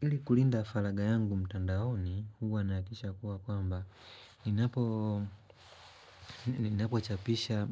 Hili kulinda falaga yangu mtandaoni, huwa nahakisha kuwa kwamba. Ninapo chapisha